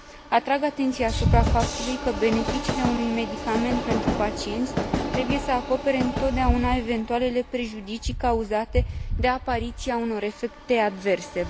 Atrag atenția asupra faptului că beneficiile unui medicament pentru pacienți trebuie să acopere întotdeauna eventualele prejudicii cauzate de apariția unor efecte adverse.